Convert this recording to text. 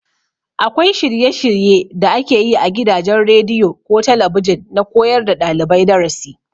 Akwai shirye- shirye da ake yi a gidajen rediyo ko talabijin na koyar da ɗalibai darasi.